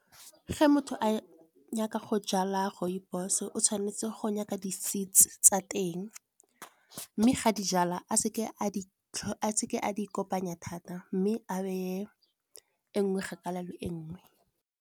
Ge motho a nyaka go jala rooibos-o o tshwanetse go nyaka di seets tsa teng mme ga di jalwa a seke a di kopanya thata mme a beye e nngwe kgakala le nngwe.